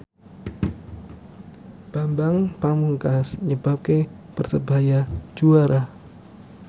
Bambang Pamungkas nyebabke Persebaya juara